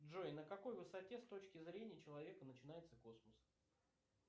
джой на какой высоте с точки зрения человека начинается космос